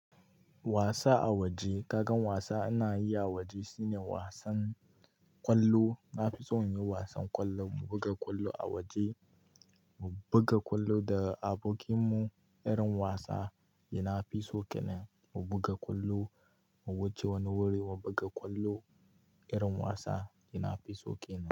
Wasa a waje. Kaga wasa ina yi a waje shine wasan ƙwallo. Na fi so in yi wasan ƙwallo, mu buga ƙwallo a waje, mu buga ƙwallo da abokin mu. Irin wasa da na fi so kenan. Mu buga ƙwallo, mu wuce wani wuri, mu buga ƙwallo. Irin wasa ina fi so kenan.